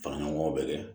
Fara ɲɔgɔn gaw bɛ kɛ